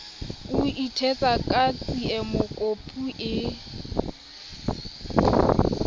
o ithetsa ka tsiemokopu e